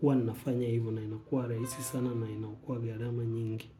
huwa nafanya hivyo na inakua raisi sana na inaokoa garama nyingi.